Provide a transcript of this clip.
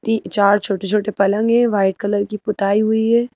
तीन चार छोटे छोटे पलंग हैं वाइट कलर की पुताई हुई है।